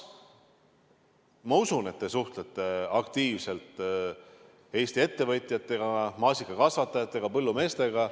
Ma usun, et te suhtlete aktiivselt Eesti ettevõtjatega, ka maasikakasvatajatega, põllumeestega.